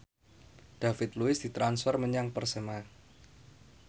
David Luiz ditransfer menyang Persema